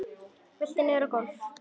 Veltur niður á gólf.